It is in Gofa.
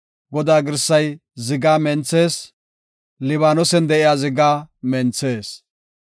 Godaa girsay zigaa menthees; Libaanosen de7iya zigaa menthees.